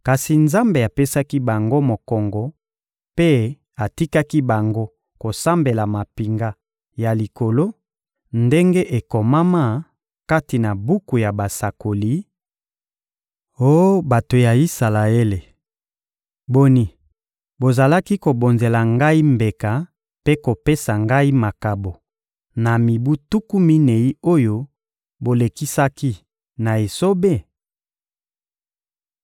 Kasi Nzambe apesaki bango mokongo mpe atikaki bango kosambela mampinga ya likolo, ndenge ekomama kati na buku ya basakoli: «Oh bato ya Isalaele, boni, bozalaki kobonzela Ngai mbeka mpe kopesa Ngai makabo na mibu tuku minei oyo bolekisaki na esobe?